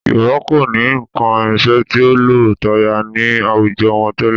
Yorùbá kò ní nǹkan ìrìnsẹ̀ tí ó lo táyà ní àwùjọ wọn tẹ́lẹ̀